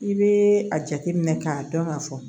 I bɛ a jateminɛ k'a dɔn ka fɔ